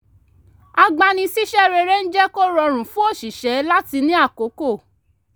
agbani-síṣẹ́ rere ń jẹ́ kó rọrùn fún oṣìṣẹ́ láti ní àkókò